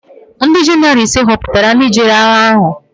Ndị jenaraal ise họputara ndị jere agha ahụ.